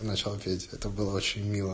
начало третьего это было очень мило